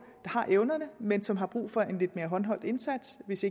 har evnerne men som har brug for en lidt mere håndholdt indsats hvis